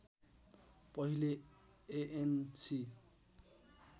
पहिले एएनसी